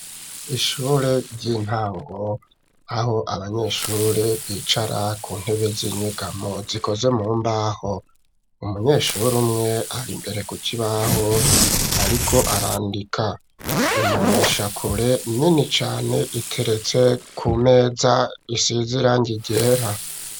Ishure ry'intango aho abanyeshuri bicara ku ntebe z'inyigamo, zikoze mumbaho, umunyeshuri umwe ari mbere kuki baho ariko arandika imboneshakure nini cane iteretse ku meza, isizirangi ryera.